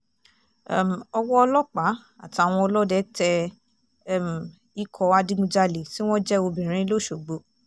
um ọwọ́ ọlọ́pàá àtàwọn ọlọ́dẹ tẹ um ikọ̀ adigunjalè tí wọ́n jẹ́ obìnrin lọ́ṣọ́gbó